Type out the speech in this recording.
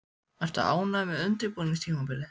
Ertu ánægður með undirbúningstímabilið?